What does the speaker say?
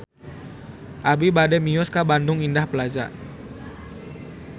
Abi bade mios ka Bandung Indah Plaza